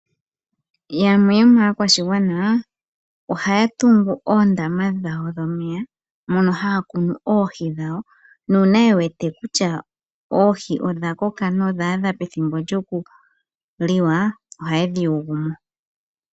Yamwe yomaakwashigwana ohaya tungu oondama dhawo dhomeya mono haya kunu oohi dhawo . Uuna ye wete kutya oohi odha koka nodha adha pethimbo lyoku liwa oha ye dhi kwata mo.